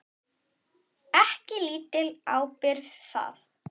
Ekki lítil ábyrgð það.